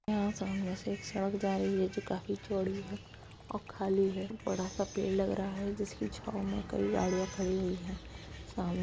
यहाँ सामने से एक सड़क जा रही है जो काफी चौड़ी है और खाली है बड़ा सा पेड़ लग रहा है जिसकी छांव में कई गाड़ियां खड़ी हुई हैं। सामने --